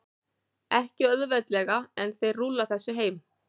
Ekki auðveldlega, en þeir rúlla þessu heim.